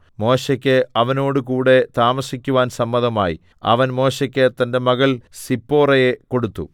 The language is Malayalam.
മോശെയ്ക്ക് അവനോടുകൂടെ താമസിക്കുവാൻ സമ്മതമായി അവൻ മോശെയ്ക്ക് തന്റെ മകൾ സിപ്പോറയെ കൊടുത്തു